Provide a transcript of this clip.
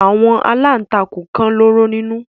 Àwọn aláǹtakùn kan lóró nínú.